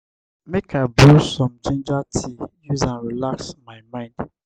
make i brew some ginger tea use am relax my mind.